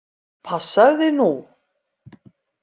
Passaðu þig nú!